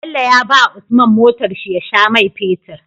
Bello ya bawa usman motar shi ya sha mai fetir